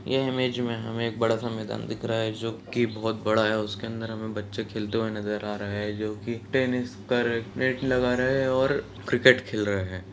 यह इमेज में हमें एक बड़ा-सा मैदान दिख रहा है जो की बहुत बड़ा है| उसके अंदर हमें बच्चे खलेते हुए नजर आ रहे हैं जो की टेनिस का नेट लगा रहे हैं और क्रिकेट खेल रहे हैं।